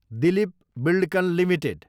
Dilip Buildcon Ltd